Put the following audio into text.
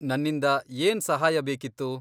ನನ್ನಿಂದ ಏನ್ ಸಹಾಯ ಬೇಕಿತ್ತು?